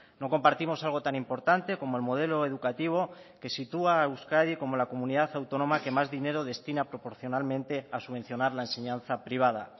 no compartimos algo tan importante como el modelo educativo que sitúa a euskadi como la comunidad autónoma que más dinero destina proporcionalmente a subvencionar la enseñanza privada